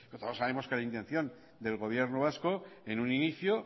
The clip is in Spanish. pero todos sabemos que la intención del gobierno vasco en un inicio